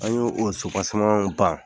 An y' o o ban